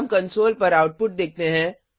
हम कंसोल पर आउटपुट देखते हैं